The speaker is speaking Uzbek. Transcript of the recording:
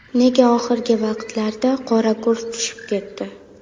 Nega oxirgi vaqtlarda qora kurs tushib ketdi?